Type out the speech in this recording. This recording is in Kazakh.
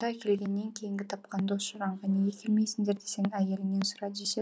келгеннен кейінгі тапқан дос жаранға неге келмейсіңдер десең әйеліңнен сұра